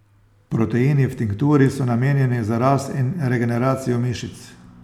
Proteini v tinkturi so namenjeni za rast in regeneracijo mišic.